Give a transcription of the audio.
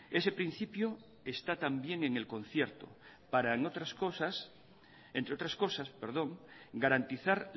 ese principio está también en el concierto para entre otras cosas garantizar